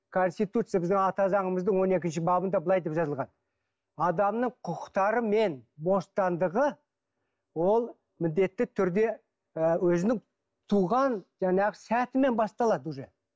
конститутция біздің ата заңымыздың он екінші бабында былай деп жазылған адамның құқықтары мен бостандығы ол міндетті түрде ы өзінің туған жаңағы сәтімен басталады уже